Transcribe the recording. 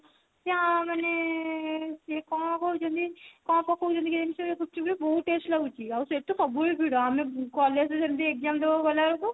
ତା ମାନେ ସେ କଣ କହୁଛନ୍ତି କଣ ପକୋଉଛନ୍ତି କେଜାଣି ସେ ଗୁପ୍ଚୁପ ରେ ବହୁତ taste ଲାଗୁଛି ଆଉ ସେଠି ସବୁ ବେଳେ ଭିଡ ଆମେ collage ରେ ସେମିତି exam ଦେଲାକୁ ଗଲା ବେଳକୁ